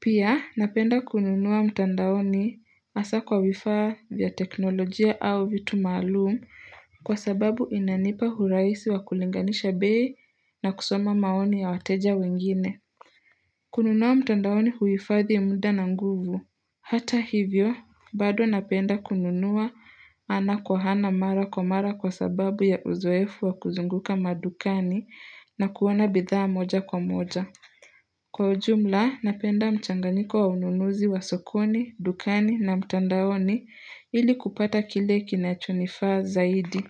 Pia napenda kununua mtandaoni hasa kwa vifaa vya teknolojia au vitu maalumu kwa sababu inanipa uraisi wa kulinganisha bei na kusoma maoni ya wateja wengine. Kununua mtandaoni huhifadhi muda na nguvu. Hata hivyo, bado napenda kununua ana kwa ana mara kwa mara kwa sababu ya uzoefu wa kuzunguka madukani na kuoana bidhaa moja kwa moja. Kwa ujumla, napenda mchanganyiko wa ununuzi wa sokoni, dukani na mtandaoni ili kupata kile kinachonifaa zaidi.